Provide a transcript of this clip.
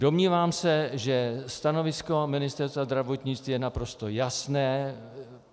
Domnívám se, že stanovisko Ministerstva zdravotnictví je naprosto jasné.